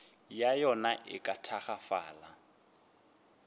ya yona e ka tagafala